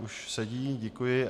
Už sedí - děkuji.